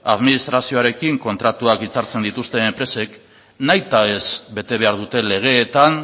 administrazioarekin kontratuak hitzartzen dituzten enpresak nahi eta ez bete behar dute legeetan